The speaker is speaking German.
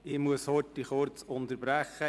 Ich muss kurz unterbrechen.